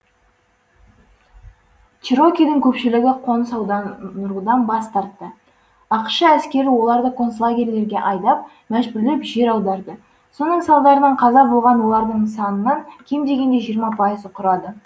черокидің көпшілігі қоныс аударудан бас тартты ақш әскері оларды концлагерлерге айдап мәжбүрлеп жер аударды соның салдарынан қаза болған олардың санынан кем дегенде жиырма пайызын құрады